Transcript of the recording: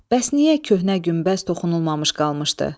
Bəs niyə köhnə günbəz toxunulmamış qalmışdı?